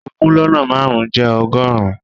Ogún lọ́nà márùn-ún jẹ́ ọgọ́rùn-ún.